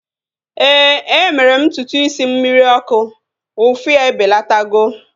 Éè, e mere m ntutu isi m mmiri ọkụ. Ụfụ ya ebelatago